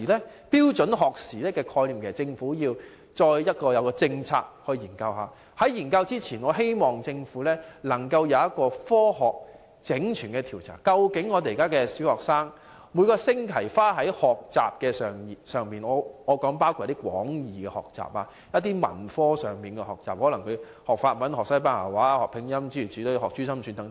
關於標準學時的概念，政府應該進行政策研究，而在進行研究前，我希望政府能夠先進行科學性的整全調查，看看現時小學生每星期花在學習的時間——我說的是廣義學習，包括文科各方面的學習，例如學習法文、西班牙文、拼音或珠心算等。